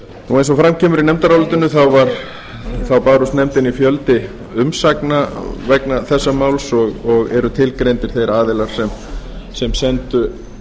eins og fram kemur í nefndarálit barst nefndinni fjöldi umsagna vegna þessa máls og eru tilgreindir þeir aðilar sem sendu